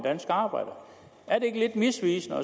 danske arbejder er det ikke lidt misvisende at